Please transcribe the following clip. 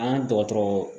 An ka dɔgɔtɔrɔ